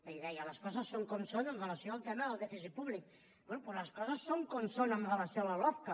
ahir deia les coses són com són amb relació al tema del dèficit públic bé doncs les coses són com són amb relació a la lofca